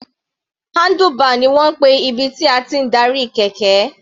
Handlebar ni wọ́n ń pè ibi tí a ti ń darí kẹ̀kẹ́.